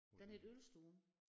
Den hed ølstuen